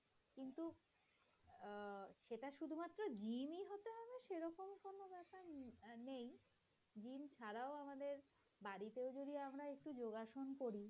আমরা একটু যোগাসন করি।